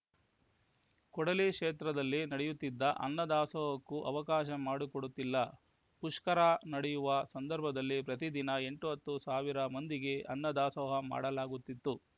ಕೂಡಲಿ ಕ್ಷೇತ್ರದಲ್ಲಿ ನಡೆಯುತ್ತಿದ್ದ ಅನ್ನದಾಸೋಹಕ್ಕೂ ಅವಕಾಶ ಮಾಡಿಕೊಡುತ್ತಿಲ್ಲ ಪುಷ್ಕರ ನಡೆಯುವ ಸಂಧರ್ಭದಲ್ಲಿ ಪ್ರತಿ ದಿನ ಎಂಟು ಹತ್ತು ಸಾವಿರ ಮಂದಿಗೆ ಅನ್ನದಾಸೋಹ ಮಾಡಲಾಗುತ್ತಿತ್ತು